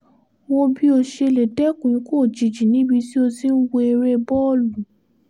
wo bí o ṣe lè dẹ́kun ikú òjijì níbi tí o ti ń wọ eré bọ́ọ̀lù